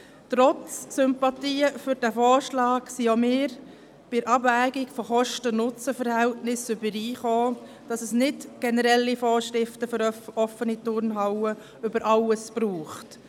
Trotz Sympathien für diesen Vorschlag kamen auch wir bei der Abwägung des Kosten-Nutzen-Verhältnisses überein, dass es nicht generelle Vorschriften für offene Turnhallen über alles braucht.